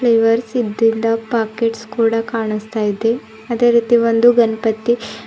flavours ಇದ್ದಿಂದ packets ಕೂಡ ಕಾಣುಸ್ತಾ ಇದೆ ಅದೇ ರೀತಿ ಒಂದು ಗಣಪತಿ--